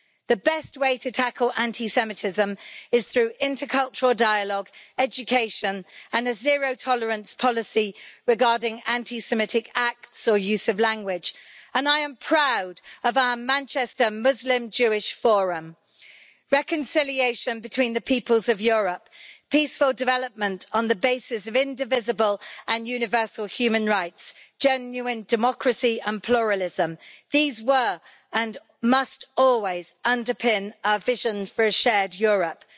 The best way to tackle anti Semitism is through intercultural dialogue, education, and a zero tolerance policy regarding anti Semitic acts or use of language, and I am proud of our Manchester Muslim Jewish Forum. Reconciliation between the peoples of Europe, peaceful development on the basis of indivisible and universal human rights, genuine democracy and pluralism these did and must always underpin our vision for a shared Europe.